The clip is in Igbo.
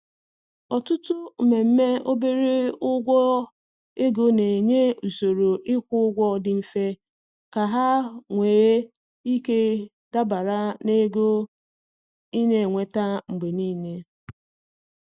Ọtụtụ mmemme obere ụgwọ ego na-enye usoro ịkwụ ụgwọ dị mfe ka ha nwee ike dabara na ego ị na-enweta mgbe niile.